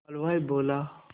हलवाई बोला